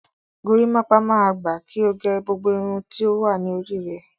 Gorímápá máa gba kí o gẹ gbogbo irun tí ó wà ní orí rẹ.